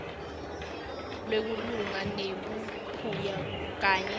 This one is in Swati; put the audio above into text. wekulwa nebuphuya kanye